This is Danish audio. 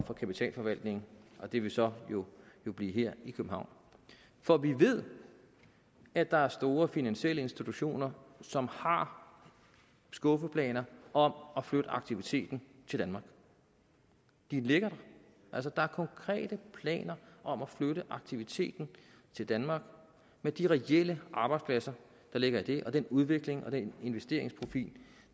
kapitalforvaltning og det vil så blive her i københavn for vi ved at der er store finansielle institutioner som har skuffeplaner om at flytte aktiviteten til danmark de ligger der altså der er konkrete planer om at flytte aktiviteten til danmark med de reelle arbejdspladser der ligger i det og den udvikling og den investeringsprofil